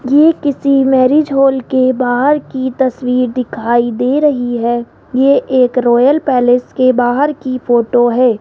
ये किसी marriage hall के बाहर की तस्वीर दिखाई दे रही है ये एक रॉयल पैलेस के बाहर की फोटो है।